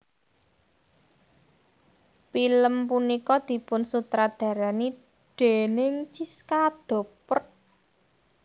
Pilem punika dipun sutradarani déning Chiska Doppert